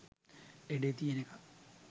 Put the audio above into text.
ලෙඩේ තියෙන එකා